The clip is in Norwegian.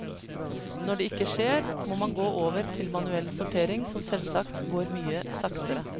Når det ikke skjer, må man gå over til manuell sortering, som selvsagt går mye saktere.